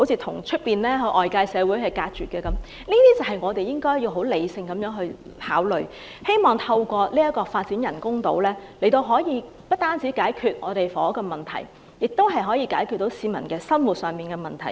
對於以上各點，我們都應理性地考慮，希望透過發展人工島，不但可以解決房屋問題，並且可以解決市民生活上的問題。